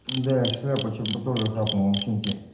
да шляпу чем которая хапнул ботинки